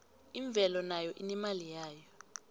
imvelo nayo inemali yayo